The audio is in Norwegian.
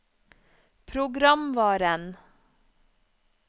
programvaren